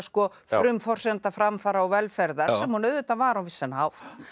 frumforsenda framfara og velferðar sem hún auðvitað var á vissan hátt